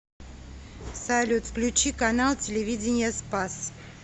салют включи канал телевидения спас